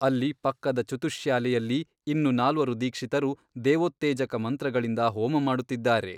ಅಲ್ಲಿ ಪಕ್ಕದ ಚುತುಶ್ಯಾಲೆಯಲ್ಲಿ ಇನ್ನು ನಾಲ್ವರು ದೀಕ್ಷಿತರು ದೇವೋತ್ತೇಜಕ ಮಂತ್ರಗಳಿಂದ ಹೋಮ ಮಾಡುತ್ತಿದ್ದಾರೆ.